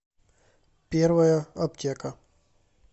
первая аптека